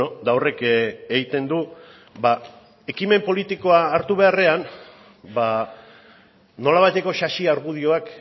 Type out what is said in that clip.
eta horrek egiten du ba ekimen politikoa hartu beharrean nolabaiteko sasi argudioak